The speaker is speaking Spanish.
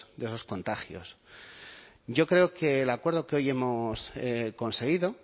de esos contagios yo creo que el acuerdo que hoy hemos conseguido